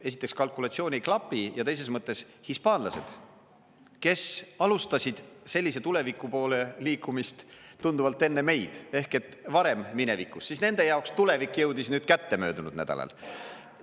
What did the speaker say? Esiteks, kalkulatsioon ei klapi, ja teises mõttes, hispaanlased, kes alustasid sellise tuleviku poole liikumist tunduvalt enne meid ehk et varem minevikus, siis nende jaoks tulevik jõudis nüüd kätte möödunud nädalal.